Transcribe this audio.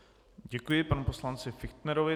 Děkuji panu poslanci Fichtnerovi.